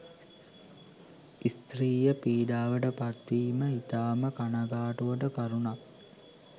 ස්ත්‍රිය පිඩාවට පත්වීම ඉතාම කනගාටුවට කරුණක්.